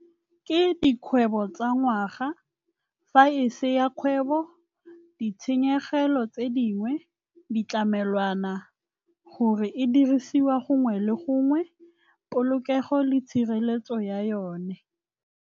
Ke dikgwebo tsa ngwaga, fa e se ya kgwebo ditshenyegelo tse dingwe, ditlamelwana gore e dirisiwa gongwe le gongwe, polokego le tshireletso ya yone.